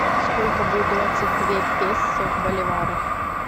сколько будет двадцать две песо в боливарах